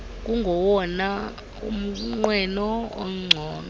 kungowona mnqweno ungcono